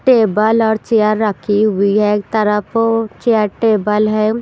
Table और chair रखी हुई है एक तरफ चेयर टेबल है।